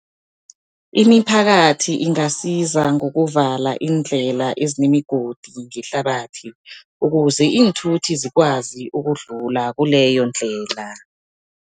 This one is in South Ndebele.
Imiphakathi ingasiza ngokuvala iindlela ezinemigodi ngehlabathi, ukuze iinthuthi zikwazi ukudlula kuleyo ndlela.